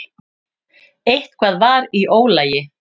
Eitthvað var í ólagi.